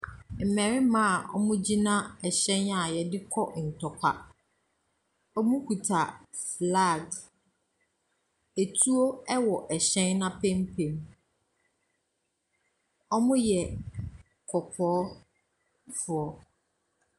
Mmarima a wɔgyina hyɛn a yɛde kɔ ntɔkwa. Wɔkita flags, etuo wɔ hyɛn n’apampam. Wɔyɛ kɔkɔɔfoɔ.